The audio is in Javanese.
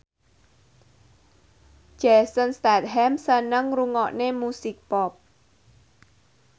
Jason Statham seneng ngrungokne musik pop